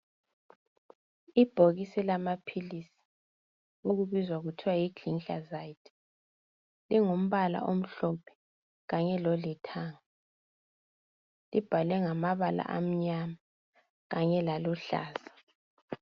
Ibhokisi lamaphilisi ukubizwa kuthiwa yigliclazide ingumbala omhlophe kanye lolithanga ibhalwe ngamabala anyama kanye laluhlala